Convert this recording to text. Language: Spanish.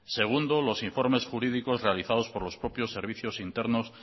segundo los informes jurídicos realizados por los propios servicios internos